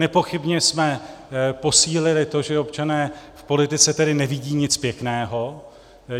Nepochybně jsme posílili to, že občané v politice tedy nevidí nic pěkného.